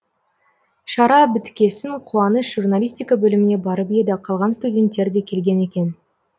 шара біткесін қуаныш журналистика бөліміне барып еді қалған студентер де келген екен